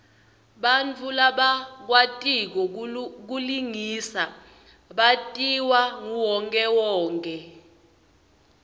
bantfu labakwatiko kulingisa batiwa nguwonkhewonkhe